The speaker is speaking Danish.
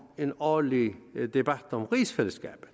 en årlig debat om rigsfællesskabet